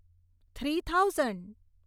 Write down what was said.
three thousand